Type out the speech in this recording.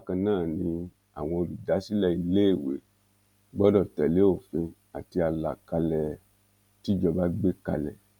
bákan náà ni àwọn olùdásílẹ iléèwé gbọdọ tẹlé òfin àti àlàkálẹ tíjọba gbé kalẹ